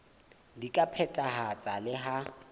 di ka phethahatswa le ha